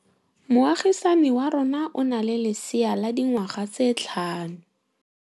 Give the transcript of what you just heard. Moagisane wa rona o na le lesea la dikgwedi tse tlhano.